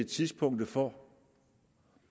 tidspunktet for